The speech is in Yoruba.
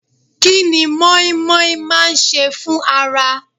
Kí ni moin moin máa ń ṣe fún ara?